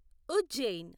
Ujjain